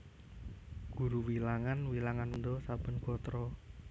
Guru wilangan wilangan wanda saben gatra